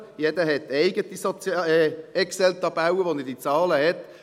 Jeder hat eigene Excel-Tabellen, in denen er diese Zahlen hat.